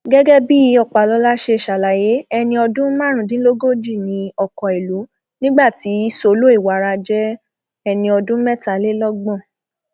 gẹgẹ bí ọpàlọla ṣe ṣàlàyé ẹni ọdún márùndínlógójì ní ọkọìlú nígbà tí solo iwara jẹ ẹni ọdún mẹtàlélọgbọn